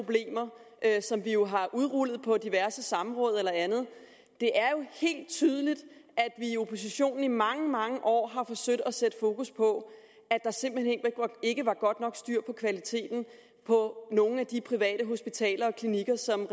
at som vi jo har udrullet på diverse samråd og andet det er jo helt tydeligt at vi i oppositionen i mange mange år har forsøgt at sætte fokus på at der simpelt hen ikke var godt nok styr på kvaliteten på nogle af de private hospitaler og klinikker som